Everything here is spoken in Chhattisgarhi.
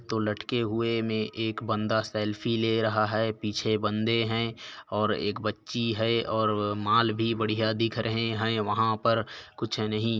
दो लटके हुए में एक बंदा सेल्फी ले रहा है पीछे बंदे है और एक बच्ची है और माल भी बढ़िया दिख रहे है वहा पर कुछ नहीं--